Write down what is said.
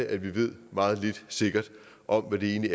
at vi ved meget lidt sikkert om hvad vi egentlig